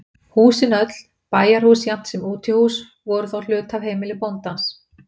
Húsin öll, bæjarhús jafnt sem útihús, voru þá hluti af heimili bóndans.